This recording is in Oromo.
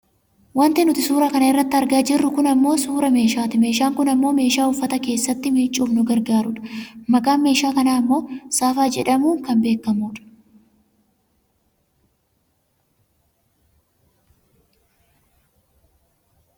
Wanti nuti suuraa kana irratti argaa jirru kun ammoo suuraa meeshaati. Meeshaan kun ammoo meeshaa uffata keessatti miicuuf nu gargaaru dha. Maqaan meeshaa kanaa ammoo saafaa jedhamuu kan waammamu dha.